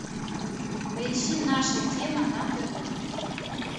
поищи наша тема на тв